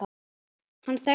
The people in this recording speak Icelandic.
Hann þekkti